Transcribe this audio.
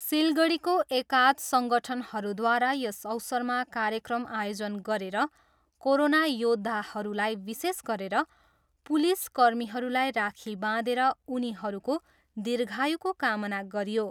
सिलगढीको एकाध सङ्गठनहरूद्वारा यस अवसरमा कार्यक्रम आयोजन गरेर कोरोना योद्धाहरूलाई विशेष गरेर पुलिस कर्मीहरूलाई राखी बाँधेर उनीहरूको दीर्घायुको कामना गरियो।